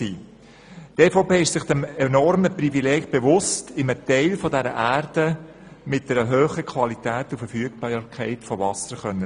Die EVP ist sich des enormen Privilegs bewusst, in einem Teil dieser Erde leben zu können, der Wasser mit einer hohen Qualität und Verfügbarkeit bietet.